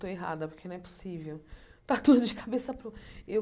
Estou errada, porque não é possível. Está tudo de cabeça para o e eu